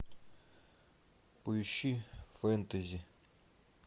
поищи фэнтези